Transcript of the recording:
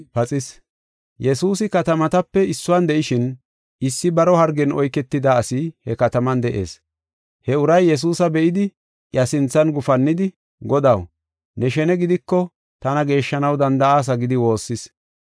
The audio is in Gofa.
Yesuusi katamatape issuwan de7ishin issi baro hargen oyketida asi he kataman de7ees. He uray Yesuusa be7idi iya sinthan gufannidi, “Godaw, ne shene gidiko tana geeshshanaw danda7aasa” gidi woossis.